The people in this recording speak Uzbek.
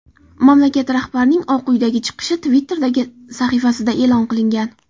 Mamlakat rahbarining Oq uydagi chiqishi Twitter’dagi sahifasida e’lon qilingan .